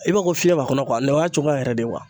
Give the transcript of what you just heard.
I b'a fɔ ko fiyɛn b'a kɔnɔ o y'a cogoya yɛrɛ de